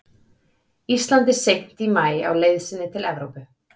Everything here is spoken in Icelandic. Íslandi seint í maí á leið sinni til Evrópu.